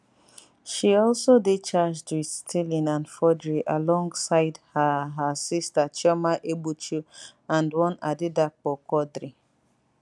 she also dey charged wit stealing and forgery alongside her her sister chioma egbuchu and one adedapo quadri